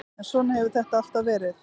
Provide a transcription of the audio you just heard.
En svona hefur þetta alltaf verið.